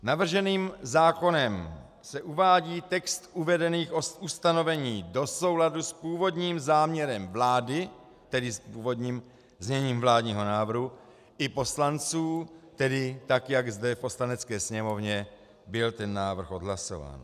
Navrženým zákonem se uvádí text uvedených ustanovení do souladu s původním záměrem vlády, tedy s původním zněním vládního návrhu i poslanců, tedy tak, jak zde v Poslanecké sněmovně byl ten návrh odhlasován.